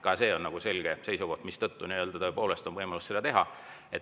Ka see on selge seisukoht, mistõttu on tõepoolest võimalus seda teha.